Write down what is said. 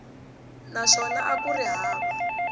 naswona a ku ri hava